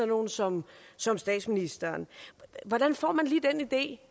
nogle som som statsministeren hvordan får man lige den idé